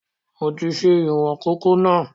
Mo ti ṣe ìwọn kòkó náà